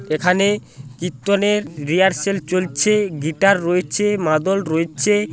এখানে কীর্তনের রিহার্সেল চলছে। গিটার রয়েছে মাদল রয়েছে।